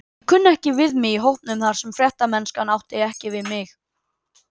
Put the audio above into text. Ég kunni ekki við mig í hópnum þar og fréttamennskan átti ekki við mig.